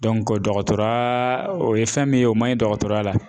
dɔgɔtɔrɔya o ye fɛn min ye o man ɲi dɔgɔtɔrɔya la.